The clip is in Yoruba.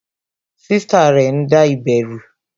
Sista rẹ ń da ibè ru